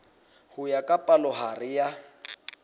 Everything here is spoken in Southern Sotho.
ho ya ka palohare ya